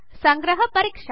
సంగ్రహ పరీక్ష